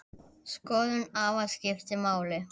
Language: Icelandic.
Skoðun afa skipti máli.